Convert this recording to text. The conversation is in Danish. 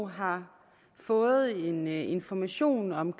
har fået en information om